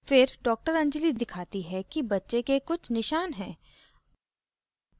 फिर डॉ anjali दिखाती है कि बच्चे के कुछ निशान हैं